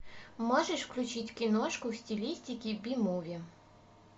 можешь включить киношку в стилистике би муви